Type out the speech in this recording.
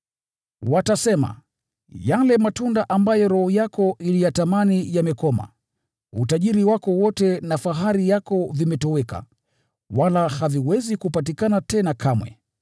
“Watasema, ‘Yale matunda ambayo roho yako iliyatamani yamekoma. Utajiri wako wote na fahari yako vimetoweka, wala haviwezi kupatikana tena kamwe!’